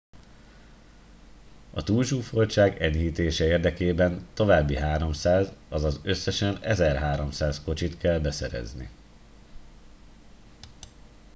a túlzsúfoltság enyhítése érdekében további 300 azaz összesen 1300 kocsit kell beszerezni